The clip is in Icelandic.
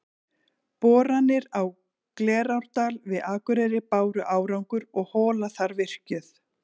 Boranir á Glerárdal við Akureyri báru árangur og hola þar virkjuð.